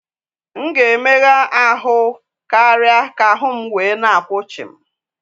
M ga-emegha ahụ́ karịa ka ahụ́ m wee na akwụ chịm